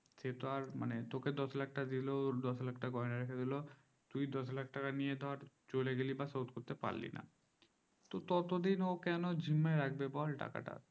সেইতো আর মানে তোকে দশ লাখ টাকা দিলো আর দশ লাখ টাকা ঘরে রেখে দিলো দশ লাখ টাকা নিয়ে ধর চলে গালি বা শোধ করতে পারলি না ততদিন কেনো ঝিমিয়ে রাখবে টাকাতা ঝুলিয়ে রাখবে টাকা তা